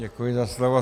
Děkuji za slovo.